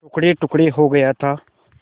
टुकड़ेटुकड़े हो गया था